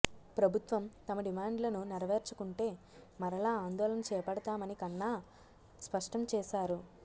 ప్రభుత్వం తమ డిమాండ్లను నెరవేర్చకుంటే మరలా ఆందోళన చేపడతామని కన్నా స్పష్టంచేశారు